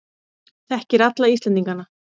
Þekkir alla Íslendingana.